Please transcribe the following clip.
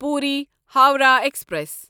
Puri Howrah express